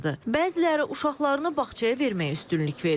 Bəziləri uşaqlarını bağçaya verməyə üstünlük verir.